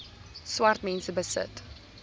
swart mense besit